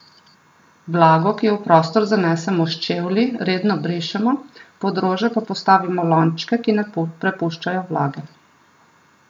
Vlago, ki jo v prostor zanesemo s čevlji, redno brišemo, pod rože pa postavimo lončke, ki ne prepuščajo vlage.